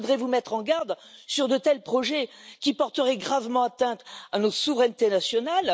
Mais je voudrais vous mettre en garde sur de tels projets qui porteraient gravement atteinte à nos souverainetés nationales.